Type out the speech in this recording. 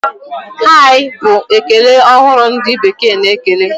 Hai! Bụ ekele ọhụrụ ndị bekee na-ekele.